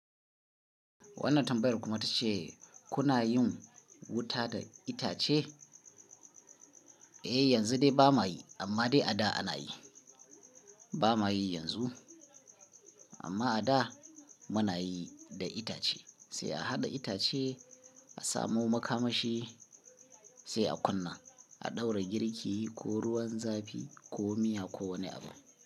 Wannan tambayar kuma ta ce kuna yin wuta da itace? Eh yanzu dai ba ma yi amma dai a da ana yi. Ba ma yi yanzu amma a da muna yi da itace. Sai a haɗa itace a samu makamashi sai a kunna, a ɗaura girki ko ruwan zafi ko miya ko wani abu.